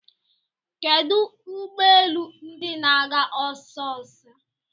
Kedu ụgbọelu ndi na-aga osiso?